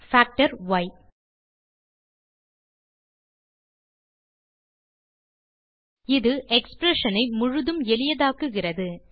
fsimplify full இது expression ஐ முழுதும் எளியதாக்குகிறது